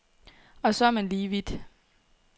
Og så er man lige vidt.